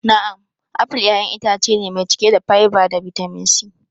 Na'am, apple ƴaƴan itace ne mai cike da fiber da bitamin C.